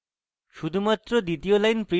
শুধুমাত্র দ্বিতীয় line print করতে